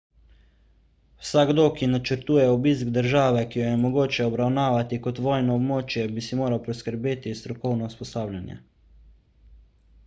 vsakdo ki načrtuje obisk države ki jo je mogoče obravnavati kot vojno območje bi si moral priskrbeti strokovno usposabljanje